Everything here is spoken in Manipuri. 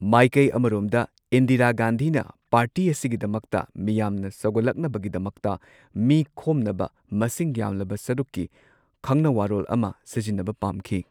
ꯃꯥꯏꯀꯩ ꯑꯃꯔꯣꯝꯗ ꯏꯟꯗꯤꯔꯥ ꯒꯥꯟꯙꯤꯅ ꯄꯥꯔꯇꯤ ꯑꯁꯤꯒꯤꯗꯃꯛꯇ ꯃꯤꯌꯥꯝꯅ ꯁꯧꯒꯠꯂꯛꯅꯕꯒꯤꯗꯃꯛꯇ ꯃꯤ ꯈꯣꯝꯅꯕ ꯃꯁꯤꯡ ꯌꯥꯝꯂꯕ ꯁꯔꯨꯛꯀꯤ ꯈꯪꯅꯋꯥꯔꯣꯜ ꯑꯃ ꯁꯤꯖꯤꯟꯅꯕ ꯄꯥꯝꯈꯤ꯫